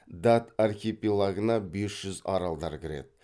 дат архипелагына бес жүз аралдар кіреді